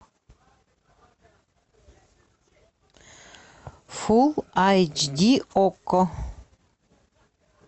фул айч ди окко